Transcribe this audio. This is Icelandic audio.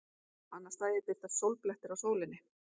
Annað slagið birtast sólblettir á sólinni.